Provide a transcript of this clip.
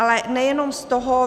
Ale nejenom z toho.